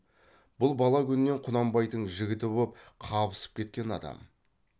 бұл бала күннен құнанбайдың жігіті боп қабысып кеткен адам